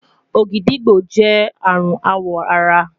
ògìdìgbó jẹ arun awọ ara